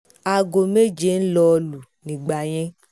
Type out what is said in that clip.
aago méje ń lọọ́ lù nígbà yẹn